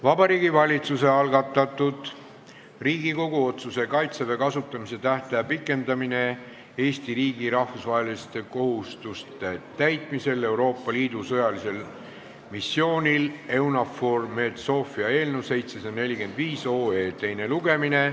Vabariigi Valitsuse esitatud Riigikogu otsuse "Kaitseväe kasutamise tähtaja pikendamine Eesti riigi rahvusvaheliste kohustuste täitmisel Euroopa Liidu sõjalisel missioonil EUNAVFOR Med/Sophia" eelnõu 745 teine lugemine.